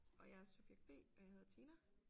Og jeg er subjekt B og jeg hedder Tina